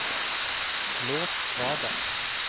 lås radar